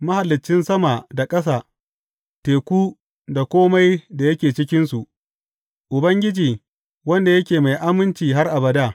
Mahaliccin sama da ƙasa, teku, da kome da yake cikinsu, Ubangiji, wanda yake mai aminci har abada.